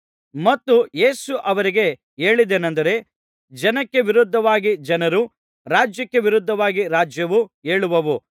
ಮತ್ತು ಯೇಸು ಅವರಿಗೆ ಹೇಳಿದ್ದೇನಂದರೆ ಜನಕ್ಕೆ ವಿರೋಧವಾಗಿ ಜನರೂ ರಾಜ್ಯಕ್ಕೆ ವಿರೋಧವಾಗಿ ರಾಜ್ಯವೂ ಏಳುವವು